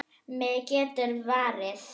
Mig geturðu varið.